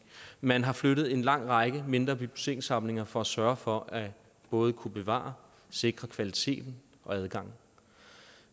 man har flyttet en lang række mindre bibliotekssamlinger for at sørge for at både kunne bevare sikre kvaliteten og adgangen